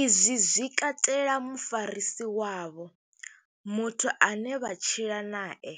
Izwi zwi katela mufarisi wavho, muthu ane vha tshila nae,